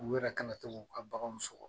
U yɛrɛ kana to k'u ka baganw sɔgɔ